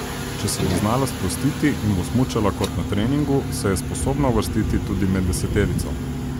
Če se bo znala sprostiti in bo smučala kot na treningu, se je sposobna uvrstiti tudi med deseterico.